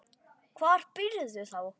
Hvar býrðu þá?